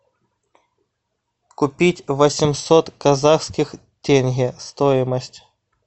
купить восемьсот казахских тенге стоимость